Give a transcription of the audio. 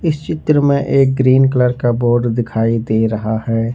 इस चित्र में एक ग्रीन कलर का बोर्ड दिखाई दे रहा है।